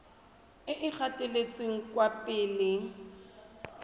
e e gatetseng kwa pele